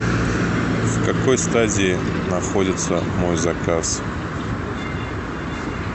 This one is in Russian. в какой стадии находится мой заказ